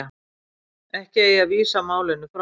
Ekki eigi að vísa málinu frá